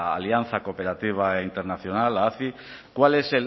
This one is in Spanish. alianza cooperativa internacional aci cuál es